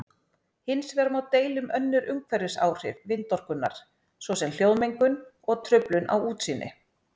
Hins vegar má deila um önnur umhverfisáhrif vindorkunnar svo sem hljóðmengun og truflun á útsýni.